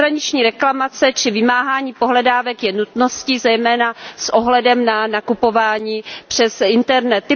Přeshraniční reklamace či vymáhání pohledávek je nutností, zejména s ohledem na nakupování přes internet.